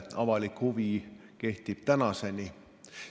Avalik huvi on püsinud tänini.